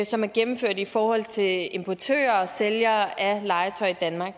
som er gennemført i forhold til importører og sælgere af legetøj i danmark